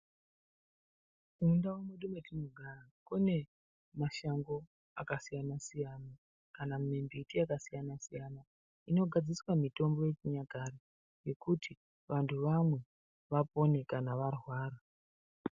Mundau mwedu mwatinogara kune mashango akasiyana siyana kana mimbiti yakasiyana siyana inogadziriswa mitombo yechinyakare yekuti vantu vamwe vapone kana varwara.